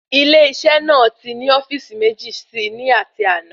Ilé isé náà ti ni ofíìsì méjì sí ní ati àná